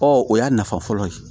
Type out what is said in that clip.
Ɔ o y'a nafa fɔlɔ ye